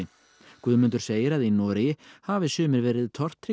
Guðmundur segir að í Noregi hafi sumir verið